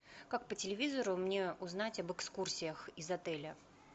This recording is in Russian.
как по телевизору мне узнать об экскурсиях из отеля